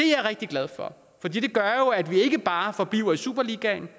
jeg rigtig glad for for det gør jo at vi ikke bare forbliver i superligaen